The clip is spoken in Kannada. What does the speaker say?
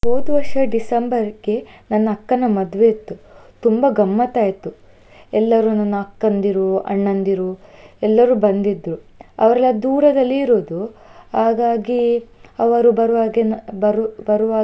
ಹೋದ್ ವರ್ಷ December ಗೆ ನನ್ನ ಅಕ್ಕನ ಮದ್ವೆ ಇತ್ತು, ತುಂಬಾ ಗಮ್ಮತ್ತ್ ಆಯ್ತು. ಎಲ್ಲರೂ ನನ್ನ ಅಕ್ಕಂದಿರು ಅಣ್ಣಂದಿರು ಎಲ್ಲರೂ ಬಂದ್ದಿದ್ರು, ಅವರೆಲ್ಲ ದೂರದಲ್ಲಿ ಇರುದು ಹಾಗಾಗಿ ಅವರು ಬರುವಾಗೆ ನಾ ಬರು~ಬರುವಾಗ.